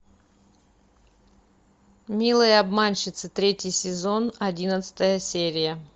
милые обманщицы третий сезон одиннадцатая серия